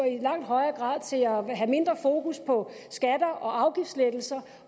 i langt højere grad til at have mindre fokus på skatter og afgiftslettelser og